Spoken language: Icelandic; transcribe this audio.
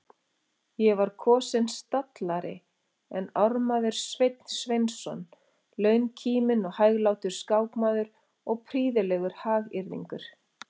Ég var kosinn stallari en ármaður Sveinn Sveinsson, launkíminn og hæglátur skákmaður og prýðilegur hagyrðingur.